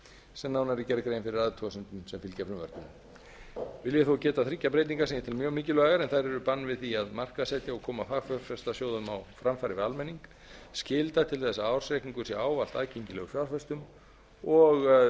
sem nánar er gerð grein fyrir í athugasemdum sem fylgja frumvarpinu vil ég þó geta þriggja breytinga sem ég tel mjög mikilvægar en þær eru bann við því að markaðssetja og koma fagfjárfestasjóðum á framfæri við almenning skylda til þess að ársreikningur sé ávallt aðgengilegur fjárfestum og